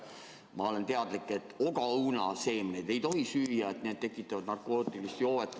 Ma olen teadlik, et ogaõunaseemneid ei tohi süüa, need tekitavad narkootilist joovet.